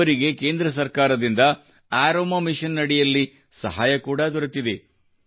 ಇವರಿಗೆ ಕೇಂದ್ರ ಸರ್ಕಾರದಿಂದ ಅರೋಮಾ ಮಿಷನ್ ಅಡಿಯಲ್ಲಿ ಸಹಾಯ ಕೂಡಾ ದೊರೆತಿದೆ